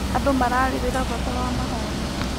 Andũ mararĩrĩra bata wa mahoya.